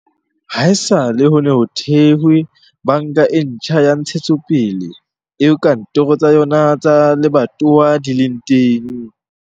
Haesale ho ne ho thehwe Banka e Ntjha ya Ntshetsopele, eo kantoro tsa yona tsa lebatowa di leng.